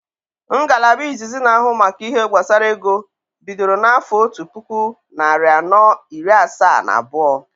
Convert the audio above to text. Ngalaba izizi na ahụ maka ihe gbasara ego bidoro na afo ọtu puku narị anọ iri asaa na abuo